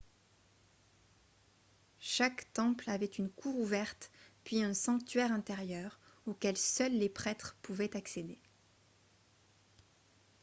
chaque temple avait une cour ouverte puis un sanctuaire intérieur auquel seuls les prêtres pouvaient accéder